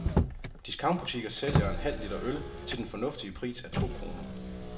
Discountbutikker sælger en halv liter øl til den fornuftige pris af to kroner.